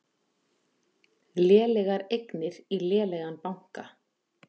Lélegar eignir í lélegan banka